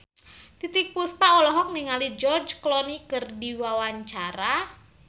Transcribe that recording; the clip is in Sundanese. Titiek Puspa olohok ningali George Clooney keur diwawancara